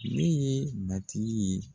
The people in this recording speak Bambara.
Ne ye matigi ye.